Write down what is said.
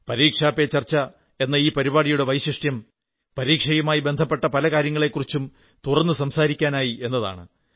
പരീക്ഷാ പേ ചർച്ച എന്ന ഈ പരിപാടിയുടെ വൈശിഷ്ട്യം പരീക്ഷയുമായി ബന്ധപ്പെട്ട പല കാര്യങ്ങളെക്കുറിച്ചും തുറന്നു സംസാരിക്കാനായി എന്നതാണ്